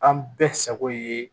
An bɛɛ sago ye